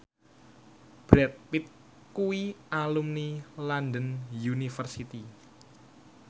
Brad Pitt kuwi alumni London University